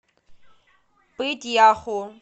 пыть яху